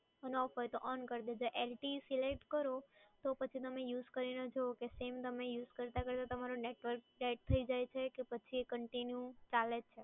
નો આવતું હોય તો on કરી ને જુઓ LTEselect કરી ને જુઓ same તમે use કરતાં કરતાં કરતાં તમારું network set થયી જાય છે કે પછી કે continue ચાલે છે.